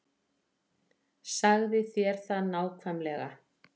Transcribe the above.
Sagði þér það nákvæmlega.